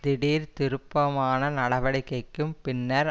திடீர் திருப்பமான நடவடிக்கைக்கும் பின்னர்